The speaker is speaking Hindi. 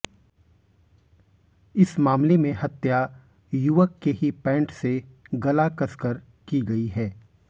इस मामले में हत्या युवक के ही पैंट से गला कसकर की गई है